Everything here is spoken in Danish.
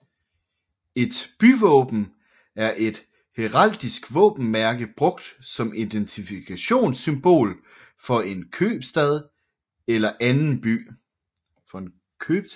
Et byvåben er et heraldisk våbenmærke brugt som identifikationssymbol for en købstad eller anden by